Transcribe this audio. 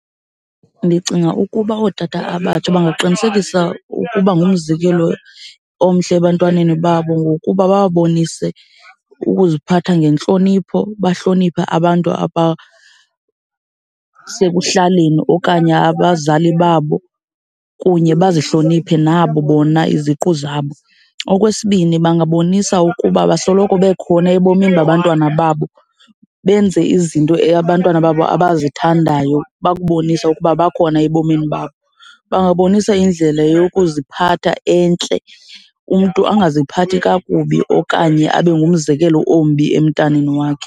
Ndicinga ukuba ootata abatsha bangaqinisekisa ukuba ngumzekelo omhle ebantwaneni babo ngokuba bababonise ukuziphatha ngentlonipho, bahloniphe abantu abasekuhlaleni okanye abazali babo, kunye bazihloniphe nabo bona iziqu zabo. Okwesibini, bangabonisa ukuba basoloko bekhona ebomini babantwana babo. Benze izinto abantwana babo abazithandayo, bakubonise ukuba bakhona ebomini bakho. Bangabonisa indlela yokuziphatha entle. Umntu angaziphathi kakubi okanye abe ngumzekelo ombi emntaneni wakhe.